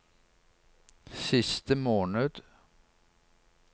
siste måned